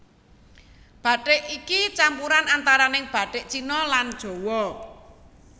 Bathik iki campuran antarané bathik Cina lan Jawa